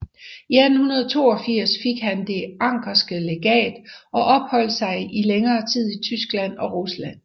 I 1882 fik han Det anckerske Legat og opholdt sig i længere tid i Tyskland og Rusland